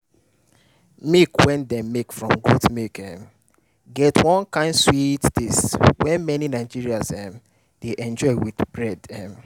milk wey dem make from goat milk um get one kind sweet taste wey many nigerians um dey enjoy with bread. um